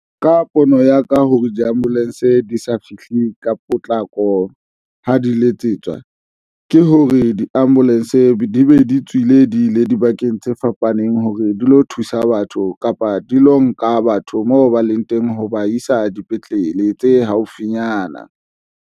Ka pono ya ka hore di-ambulance di sa fihle ka potlako, ha di letsetswa ke hore di-ambulance di be di tswile di ile dibakeng tse fapaneng hore di lo thusa batho kapa di lo nka batho moo ba leng teng ho ba isa dipetlele tse haufinyana.